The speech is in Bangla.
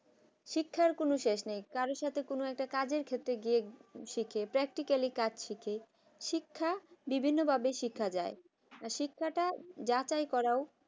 শিক্ষার কোন শেষ নেই কারো সাথে কোন একটা কাজে গিয়ে শেখে practically কাছ থেকে শিক্ষা বিভিন্নভাবে শেখা যায় আর শিক্ষাটা যাচাই করা ও